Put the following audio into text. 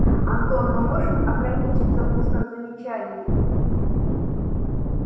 антон мы можем ограничиться устным замечанием